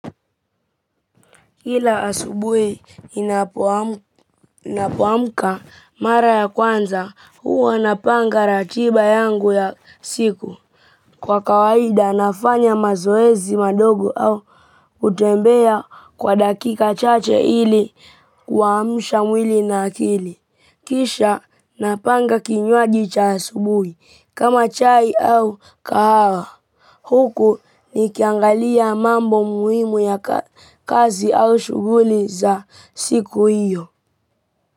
Kila asubui inapoamka mara ya kwanza, huwa napanga ratiba yangu ya siku. Kwa kawaida, nafanya mazoezi madogo au hutembea kwa dakika chache ili kuamusha mwili na akili. Kisha, napanga kinywaji cha asubuhi, kama chai au kahawa. Huku nikiangalia mambo muhimu ya kazi au shuguli za siku hiyo.